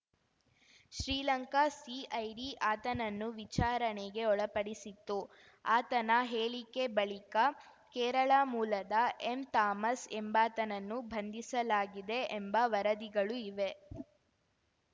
Sri Lanka CID ಆತನನ್ನು ವಿಚಾರಣೆಗೆ ಒಳಪಡಿಸಿತ್ತು ಆತನ ಹೇಳಿಕೆ ಬಳಿಕ ಕೇರಳ ಮೂಲದ ಎಂ ಥಾಮಸ್‌ ಎಂಬಾತನನ್ನು ಬಂಧಿಸಲಾಗಿದೆ ಎಂಬ ವರದಿಗಳು ಇವೆ